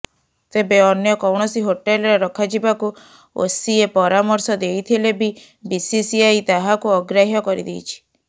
ତେବେ ଅନ୍ୟ କୌଣସି ହୋଟେଲ୍ରେ ରଖାଯିବାକୁ ଓସିଏ ପରାମର୍ଶ ଦେଇଥିଲେ ବି ବିସିସିିଆଇ ତାହାକୁ ଅଗ୍ରାହ୍ୟ କରିଦେଇଛି